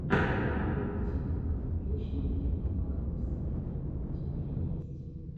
мультик вечного лета вокруг света у тебя есть